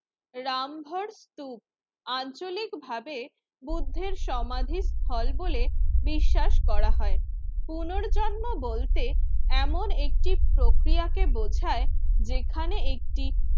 রামভর স্তূপ আঞ্চলিকভাবে বুদ্ধের সমাধির ফল বলে বিশ্বাস করা হয়। পুনর্জন্ম বলতে এমন একটি প্রক্রিয়াকে বোঝায় যেখানে একটি